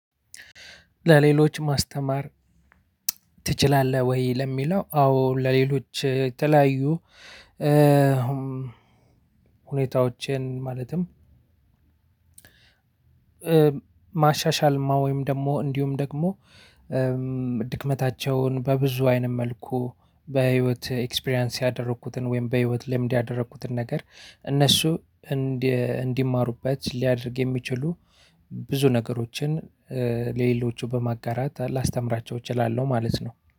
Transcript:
ለሌሎች ማስተማር ትችላለህ ወይ ለሚለው አዎ ለሌሎች የተለያዩ ሁኔታዎችን ማለትም ማሻሻል ወይም ደግሞ እንዲሁም ደግሞ ድክመታቸውን በብዙ አይነት መልኩ በህይወት ኤክስፒሪያንስ ያደረኩትን ወይም በህይወት ልምድ ያደረኩትን ነገር እነሱ እንዲማሩበት ሊያደርግ የሚችሉ ብዙ ነገሮችን ለሌሎቹ በማጋራት ላስተምራቸው እችላለሁ ማለት ነው።